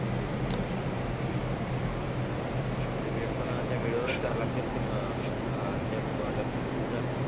ती पण त्या वेळेवर करावी लागते ते मी ए ए त्या अलक्ष्मी ची पूजा